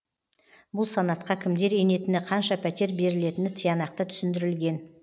бұл санатқа кімдер енетіні қанша пәтер берілетіні тиянақты түсіндірілген